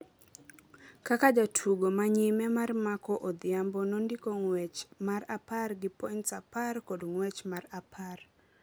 kaka jatugo ma nyime mar Marco Odhiambo nondiko ng’wech mar apar gi points apar kod ng’wech mar apar.